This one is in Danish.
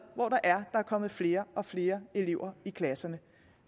hvor der er kommet flere og flere elever i klasserne